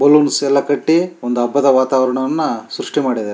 balloons ಎಲ್ಲ ಕಟ್ಟಿ ಒಂದು ಹಬ್ಬದ ವಾತಾವರಣವನ್ನ ಸೃಷ್ಟಿ ಮಾಡಿದ್ದಾ --